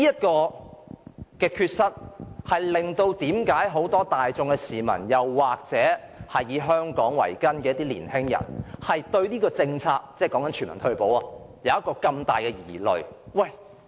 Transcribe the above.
這缺失令很多市民或以香港為根的年青人對推行全民退休保障政策有很大疑慮。